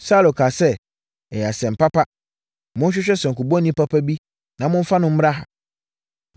Saulo kaa sɛ, “Ɛyɛ asɛm papa. Monhwehwɛ sankubɔni papa bi na momfa no mmra ha.”